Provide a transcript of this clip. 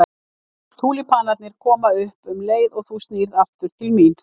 Túlípanarnir koma upp um leið og þú snýrð aftur til mín.